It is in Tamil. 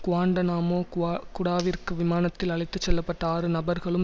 குவாண்டநாமோ குவா குடாவிற்கு விமானத்தில் அழைத்து செல்லப்பட்ட ஆறு நபர்களும்